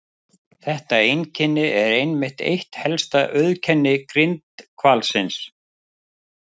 Þetta einkenni er einmitt eitt helsta auðkenni grindhvalsins.